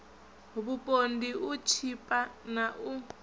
vhupondi u tshipa na u